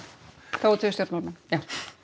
þó það séu stjórnmálamenn já